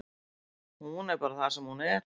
Hún er bara það sem hún er.